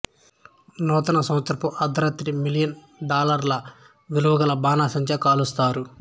నూతన సంవత్సరపు అర్ధరాత్రి మిలియన్ డాలర్ల విలువగల బాణాసంచా కాలుస్తారు